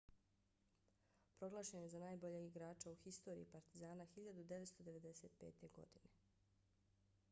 proglašen je za najboljeg igrača u historiji partizana 1995. godine